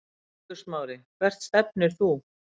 Eiður Smári Hvert stefnir þú?